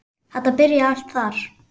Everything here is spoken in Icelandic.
Þetta byrjaði allt þar.